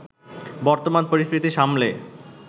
বর্তমান পরিস্থিতি সামলে